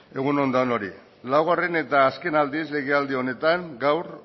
egun on danoi laugarren eta azken aldiz legealdi honetan gaur